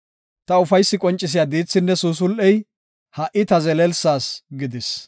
Ta ufaysi qoncisiya diithinne suusul7ey, ha77i ta zelelsas gidis.